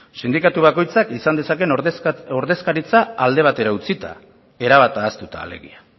sindikatu bakoitzak izan dezakeen ordezkaritza alde batera utzita erabat ahaztuta alegia